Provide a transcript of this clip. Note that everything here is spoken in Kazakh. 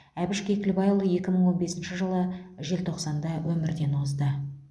әбіш кекілбайұлы екі мың он бесінші жылы желтоқсанда өмірден озды